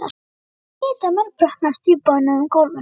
Hann hlyti að mölbrotna á stífbónuðu gólfinu.